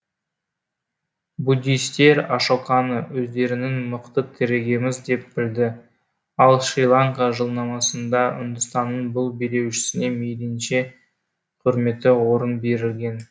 буддистер ашоканы өздерінің мықты тірегіміз деп білді ал шри ланка жылнамасында үндістанның бұл билеушісіне мейлінше құрметті орын берілген